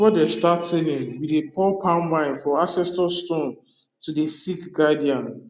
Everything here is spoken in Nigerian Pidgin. before them start tiling we dey pour palm wine for ancestor stones to dey seek guidance